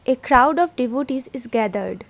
A crowd of devotees is gathered.